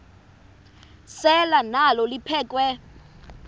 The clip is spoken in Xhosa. selwa nalo liphekhwe